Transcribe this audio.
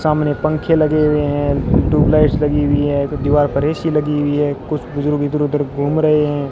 सामने पंखे लगे हुए है ट्यूबलाइट्स लगी हुई है दीवार पर ए_सी लगी हुई है कुछ बुजुर्ग इधर उधर घूम रहे है।